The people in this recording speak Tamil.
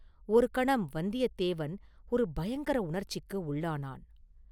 ஒரு கணம் வந்தியத்தேவன் ஒரு பயங்கர உணர்ச்சிக்கு உள்ளானான்.